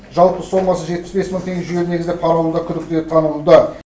жалпы сомасы жетпіс бес мың теңге жүйелі негізде пара алуда күдікті деп танылуда